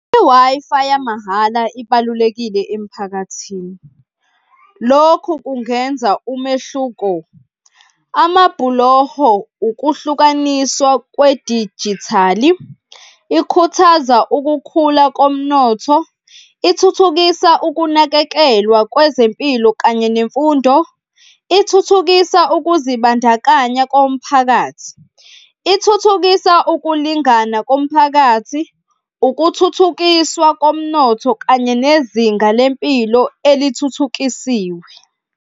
I-Wi-Fi yamahhala ibalulekile emiphakathini, lokhu kungenza umehluko. Amabhuloho ukuhlukaniswa kwedijithali, ikhuthaza ukukhula komnotho, ithuthukisa ukunakekelwa kwezempilo kanye nemfundo, ithuthukisa ukuzibandakanya komphakathi, ithuthukisa ukulingana komphakathi, ukuthuthukiswa komnotho kanye nezinga lempilo elithuthukisiwe.